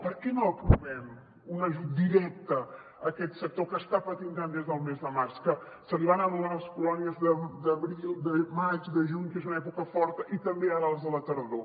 per què no aprovem un ajut directe a aquest sector que està patint tant des del mes de març que se li van anul·lar les colònies d’abril de maig de juny que és una època forta i també ara les de la tardor